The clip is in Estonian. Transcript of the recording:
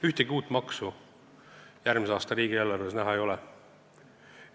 Ühtegi uut maksu järgmise aasta riigieelarves näha ei ole.